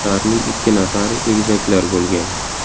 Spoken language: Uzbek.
Ularning ikki nafari egizaklar bo‘lgan.